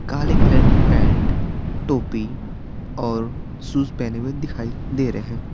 काले कलर की पैंट टोपी और शूज पहने हुए दिखाई दे रहे --